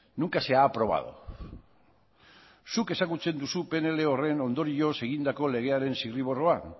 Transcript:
nunca se ha aprobado zuk ezagutzen duzu pnl horren ondorioz egindako legearen zirriborroak